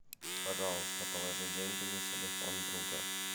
пожалуйста положи деньги на телефон друга